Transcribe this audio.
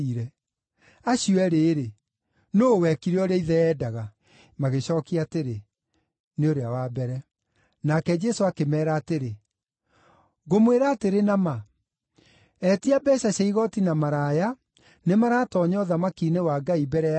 “Acio eerĩ-rĩ, nũũ wekire ũrĩa ithe eendaga?” Magĩcookia atĩrĩ, “Nĩ ũrĩa wa mbere.” Nake Jesũ akĩmeera atĩrĩ, “Ngũmwĩra atĩrĩ na ma, etia mbeeca cia igooti na maraya nĩmaratoonya ũthamaki-inĩ wa Ngai mbere yanyu.